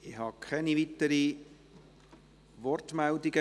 Es gibt keine weiteren Wortmeldungen.